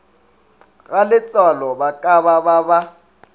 galetsoalo ba ka ba ba